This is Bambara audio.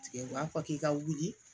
Tigɛ u b'a fɔ k'i ka wuli